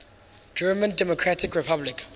german democratic republic